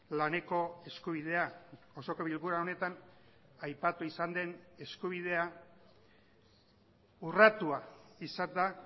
laneko eskubidea osoko bilkura honetan aipatu izan den eskubidea urratua izan da